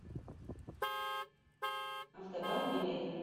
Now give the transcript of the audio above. автобан билет